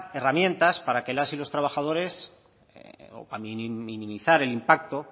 herramientas para que las y los trabajadores a minimizar el impacto